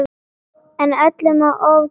En öllu má ofgera.